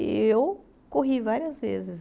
E eu corri várias vezes.